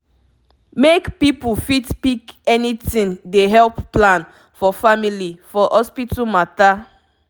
make people fit pick anything dey help plan for family for hospital mata